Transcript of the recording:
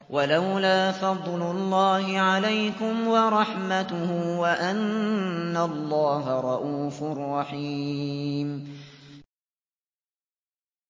وَلَوْلَا فَضْلُ اللَّهِ عَلَيْكُمْ وَرَحْمَتُهُ وَأَنَّ اللَّهَ رَءُوفٌ رَّحِيمٌ